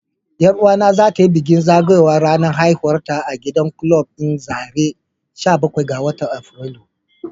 Yar uwata za ta yi bikin zagayowar ranar haihuwarta a gidan kulab din zarai sha bakwai ga Afrilu.